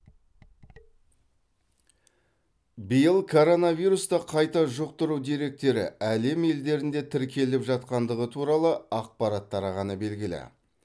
биыл коронавирусты қайта жұқтыру деректері әлем елдерінде тіркеліп жатқандығы туралы ақпарат тарағаны белгілі